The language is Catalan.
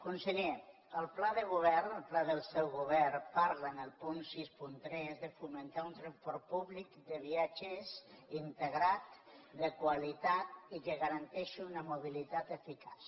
conseller el pla de govern el pla del seu govern parla en el punt seixanta tres de fomentar un transport públic de viatgers integrat de qualitat i que garanteixi una mobilitat eficaç